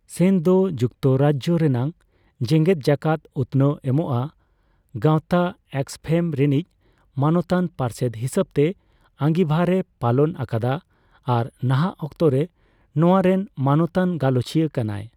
ᱥᱮᱱ ᱫᱚ ᱡᱩᱠᱛᱚᱨᱟᱡᱽᱡᱚ ᱨᱮᱱᱟᱜ ᱡᱮᱜᱮᱫᱡᱟᱠᱟᱛ ᱩᱛᱱᱟᱹᱣ ᱮᱢᱚᱜᱟᱜ ᱜᱟᱶᱛᱟ ᱟᱠᱥᱚᱯᱷᱮᱢ ᱨᱮᱱᱤᱡ ᱢᱟᱱᱚᱛᱟᱱ ᱯᱟᱨᱥᱮᱫ ᱦᱤᱥᱟᱹᱵᱛᱮ ᱟᱸᱜᱤᱵᱷᱟᱨ ᱮ ᱯᱟᱞᱚᱱ ᱟᱠᱟᱫᱟ ᱟᱨ ᱱᱟᱦᱟᱜ ᱚᱠᱛᱚᱨᱮ ᱱᱚᱣᱟ ᱨᱮᱱ ᱢᱟᱱᱚᱛᱟᱱ ᱜᱟᱞᱚᱪᱤᱭᱟᱹ ᱠᱟᱱᱟᱭ ᱾